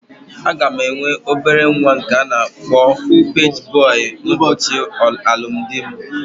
Aga m enwe obere nwa nke a na-akpọ paji bọy ụbọchị alụmdi mụ